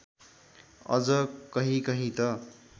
अझ कहीँकहीँ त